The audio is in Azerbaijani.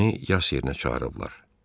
Məni yas yerinə çağırıblar.